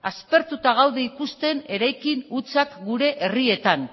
aspertuta gaude ikusten eraikin hutsak gure herrietan